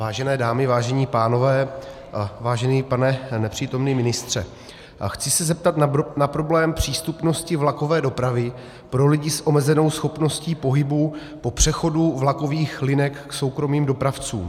Vážené dámy, vážení pánové, vážený pane nepřítomný ministře, chci se zeptat na problém přístupnosti vlakové dopravy pro lidi s omezenou schopností pohybu po přechodu vlakových linek k soukromým dopravcům.